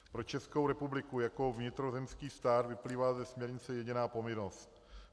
Pro Českou republiku jako vnitrozemský stát vyplývá ze směrnice jediná povinnost.